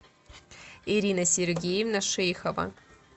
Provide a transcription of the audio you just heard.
ирина сергеевна шейхова